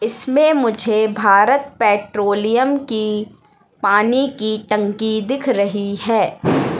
इसमें मुझे भारत पेट्रोलियम की पानी की टंकी दिख रही है।